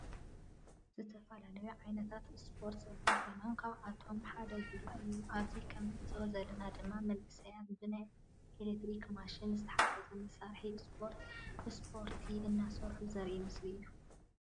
ዝተፈላለዩ ዓይነታት እስፓርት ዘለዉ ኮይኖም ካብአቶም ሓደ ጉያ እዩ። አብዚ ከም እንዕዞቦ ዘለና ድማ መናእሰይ ብናይ ኤሌትሪክ ማሽን ዝተሓገዘ መስርሒ እስፓርት ሰፓርቲ እናሰርሑ ዘሪኢ ምስሊ እዩ።